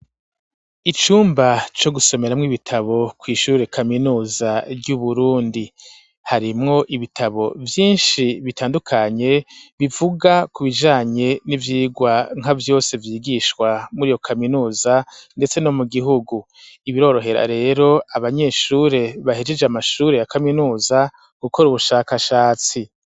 Icumba co gusomeramwo ibitabo kw'ishure kaminuza ry'uburundi harimwo ibitabo vyinshi bitandukanye bivuga ku bijanye n'ivyigwa nka vyose vyigishwa muri iyo kaminuza, ndetse no mu gihugu ibirorohera rero abanyeshure bahejeje amasura lure ya kaminuza gukora ubushakashatsi.